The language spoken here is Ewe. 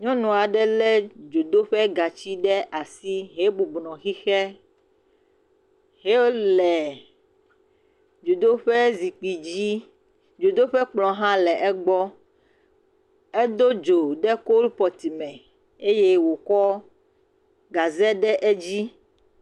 Nyɔnu aɖe lé dzodoƒegatsi ɖe asi hebɔbɔ nɔ xixe, enɔ dzodoƒe zikpui dzi, dzodoƒe kplɔ hã le egbɔ. Edo dzo ɖe kolpɔt me eye wòkɔ gaze de edzi.